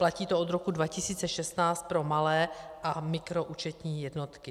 Platí to od roku 2016 pro malé a mikroúčetní jednotky.